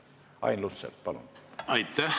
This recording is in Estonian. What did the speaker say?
Ain Lutsepp, palun!